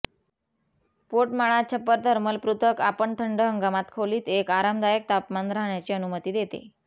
पोटमाळा छप्पर थर्मल पृथक् आपण थंड हंगामात खोलीत एक आरामदायक तापमान राहण्याची अनुमती देते